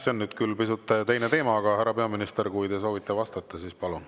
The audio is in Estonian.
See on nüüd küll pisut teine teema, aga härra peaminister, kui te soovite vastata, siis palun.